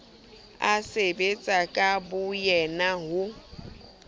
a sebetsa ka boyena ho